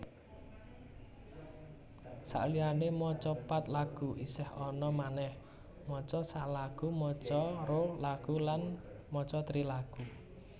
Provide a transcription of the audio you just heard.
Saliyané maca pat lagu isih ana manèh maca sa lagu maca ro lagu lan maca tri lagu